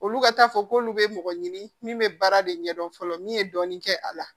Olu ka taa fɔ k'olu bɛ mɔgɔ ɲini min bɛ baara de ɲɛdɔn fɔlɔ min ye dɔɔnin kɛ a la